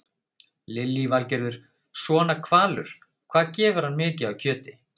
Lillý Valgerður: Svona hvalur, hvað gefur hann mikið af kjöti?